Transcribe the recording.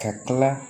Ka tila